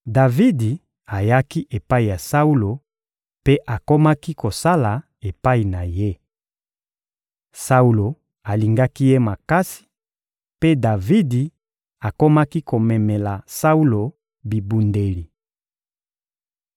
Davidi ayaki epai ya Saulo mpe akomaki kosala epai na ye. Saulo alingaki ye makasi, mpe Davidi akomaki komemela Saulo bibundeli.